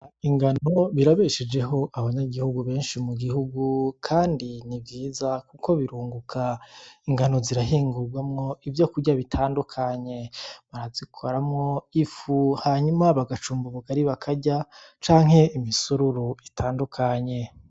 Ingano birabeshejeho abanyagihugu benshi mu gihugu kandi ni vyiza kuko birunguka ingano zirahingugwamwo ivyo kurya bitandukanye, bazikoramwo ifu hanyuma bagacumba ubugali bakarya canke imisururu itandukanye.